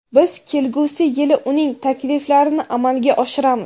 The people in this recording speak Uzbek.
biz kelgusi yili uning takliflarini amalga oshiramiz.